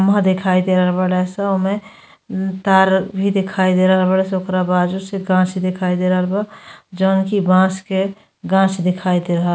म्हा देखाई दे रहल बाड़े स ओमे न्-तार भी दिखाई दे रहल बाड़े स। ओकरा बाजू से गाँछ दिखाई दे रहल बा जौन की बांस के गाँछ दिखाई दे रहा --